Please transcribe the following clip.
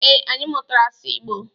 Ee, anyị mụtara asụ Igbo.